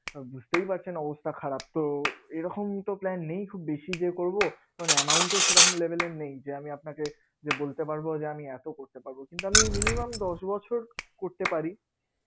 বুঝতেই পারছেন অবস্থা খারাপতো এইরকম তো plan নেই খুব বেশি যে করবো, ওখানে amount এর সেরকম level এর নেই যে আমি আপনাকে যে বলতে পারবো যে আমি এত করতে পারবো কিন্তু আমি minimum দশ বছর করতে পারি